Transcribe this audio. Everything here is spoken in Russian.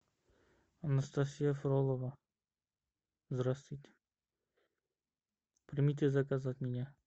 анастасия фролова здравствуйте примите заказ от меня